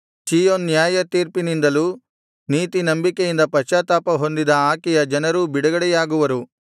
ಚೀಯೋನ್ ನ್ಯಾಯತೀರ್ಪಿನಿಂದಲೂ ನೀತಿ ನಂಬಿಕೆಯಿಂದ ಪಶ್ತಾತ್ತಾಪ ಹೊಂದಿದ ಆಕೆಯ ಜನರೂ ಬಿಡುಗಡೆಯಾಗುವರು